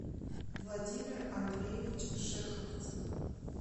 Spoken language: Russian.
владимир андреевич шеховцев